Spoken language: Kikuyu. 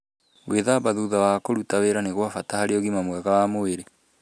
Gwíthamba thutha wa kũruta wĩra nĩ kwa bata harĩ ũgima mwega wa mwĩrĩ.